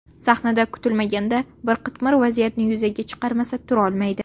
Sahnada kutilmaganda bir qitmir vaziyatni yuzaga chiqarmasa turolmaydi.